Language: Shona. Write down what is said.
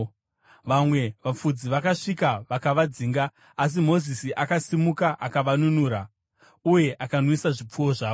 Vamwe vafudzi vakasvika vakavadzinga, asi Mozisi akasimuka akavanunura uye akanwisa zvipfuwo zvavo.